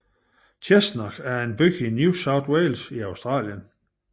Cessnock er en by i New South Wales i Australien